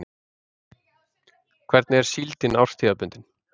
Hvernig er síldin árstíðabundin?